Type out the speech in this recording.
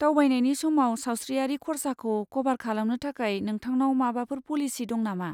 दावबायनायनि समाव सावस्रियारि खरसाखौ कभार खालामनो थाखाय नोंथांनाव माबाफोर पलिसि दं नामा?